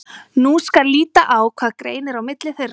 Nú skal líta á hvað greinir á milli þeirra.